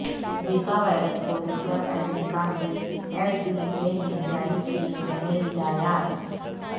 Zika virus کو لے کر امریکہ کے ایف ڈی اے نے جاری کئے نئے ہدایات